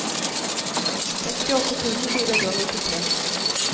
sekstiåtte tusen fire hundre og nittitre